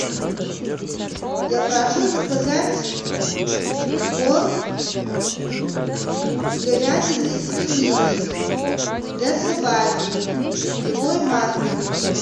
я прошу заказать корм с говядиной и свининой для собаки любой марки